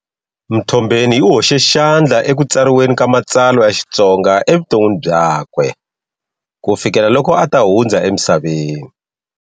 Mtombeni u hoxe xandla ekutsariweni ka matsalwa ya Xitsonga evuton'wini byakwe ku fikela loko ata hundza emisaveni.